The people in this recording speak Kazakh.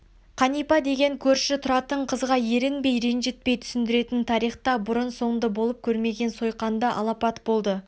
қанипа деген көрші тұратын қызға ерінбей ренжітпей түсіндіретін тарихта бұрын соңды болып көрмеген сойқанды алапат болды